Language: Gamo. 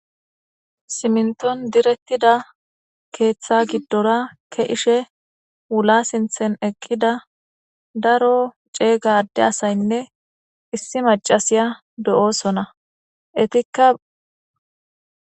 Siminton direttida keeththa giddora ke ishe wula sinthen eqqida daro ceeyga adde asaynne issi macasiya do7osona etikka.